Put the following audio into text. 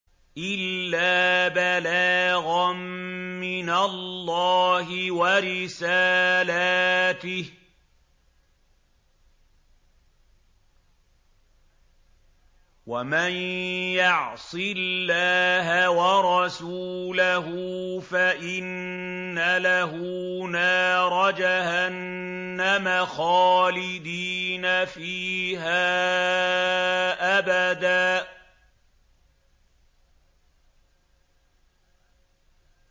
إِلَّا بَلَاغًا مِّنَ اللَّهِ وَرِسَالَاتِهِ ۚ وَمَن يَعْصِ اللَّهَ وَرَسُولَهُ فَإِنَّ لَهُ نَارَ جَهَنَّمَ خَالِدِينَ فِيهَا أَبَدًا